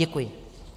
Děkuji.